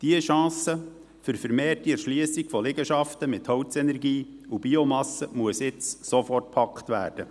Diese Chance für eine vermehrte Erschliessung von Liegenschaften mit Holzenergie und Biomasse muss jetzt sofort gepackt werden.